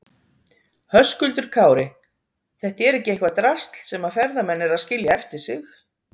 Höskuldur Kári: Þetta er ekki eitthvað drasl sem að ferðamenn eru að skilja eftir sig?